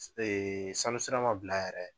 Ee sanu sira ma bila yɛrɛ